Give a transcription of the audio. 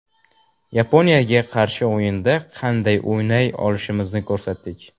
Yaponiyaga qarshi o‘yinda qanday o‘ynay olishimizni ko‘rsatdik.